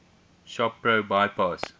shop pro bypass